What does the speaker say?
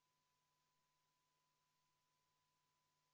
Kellelgi midagi selle vastu ei olnud, järelikult on ettepanek leidnud toetust.